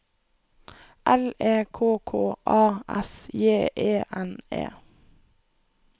L E K K A S J E N E